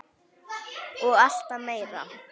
Og alltaf meira.